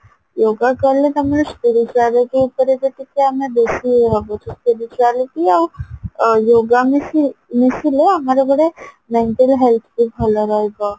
yoga କଲେ ତମର spirituality ଉପରେ ଯେମତିକି ଆମେ ବେଶି ଭାବୁଚୂ spirituality ଆଉ yoga ମିଶି ମିଶିଲେ ଆମର ଗୋଟେ mental health ବି ଭଲ ରହିବ